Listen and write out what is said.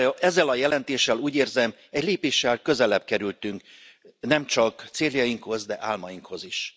Ezzel a jelentéssel, úgy érzem, egy lépéssel közelebb kerültünk nemcsak céljainkhoz, de álmainkhoz is.